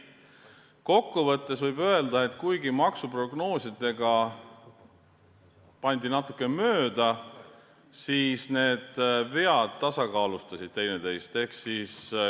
Kokkuvõttes võib öelda, et kuigi maksuprognoosidega pandi natuke mööda, siis vead tasakaalustasid teineteist.